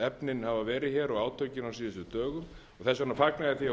efnin hafa verið og átökin á síðustu dögum og þess vegna fagna ég því að hún óski þessarar heimildir